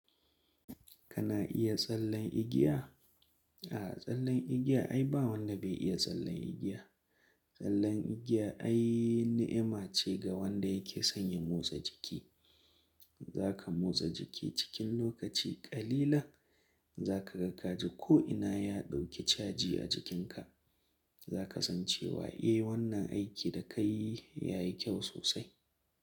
Kana iya tsallen igiya? A'a, tsallen igiya ai ba wanda bai iya tsallen igiya. Tsallen igiya ai ni'ima ce ga wanda yake son ya motsa jiki. Zaka motsa jiki cikin lokaci ƙalilan, zaka ga kaji ko'ina ya ɗauki caji a jikinka. Zaka san cewa, eh wannan aiki da ka yi ya yi kyau sosai.